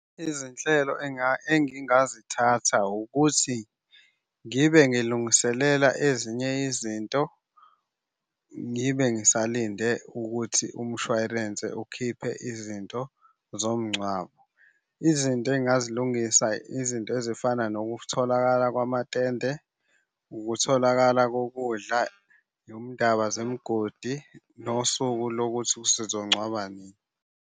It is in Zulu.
Izinhlelo engingazithatha ukuthi ngibe ngilungiselela ezinye izinto, ngibe ngisalinde ukuthi umshwarense ukhiphe izinto zomngcwabo. Izinto engingazilungisa izinto ezifana nokutholakala kwamatende, ukutholakala kokudla nomndaba zemgodi, nosuku lokuthi sizongcwaba nini.